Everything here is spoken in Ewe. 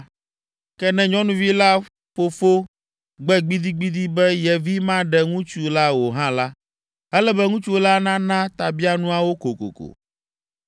Ke ne nyɔnuvi la fofo gbe gbidigbidi be ye vi maɖe ŋutsu la o hã la, ele be ŋutsu la nana tabianuawo kokoko.